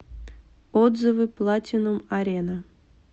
отзывы платинум арена